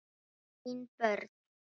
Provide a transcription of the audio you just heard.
Þín börn.